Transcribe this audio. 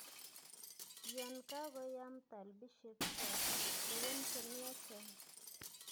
yon kagoyaam talbisyek chotok, lewen che myachen